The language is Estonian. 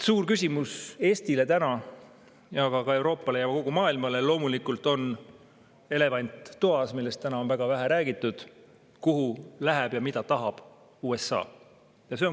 Suur küsimus Eestile ja ka Euroopale ja kogu maailmale on loomulikult elevant toas, millest täna on väga vähe räägitud: kuhu läheb ja mida tahab USA?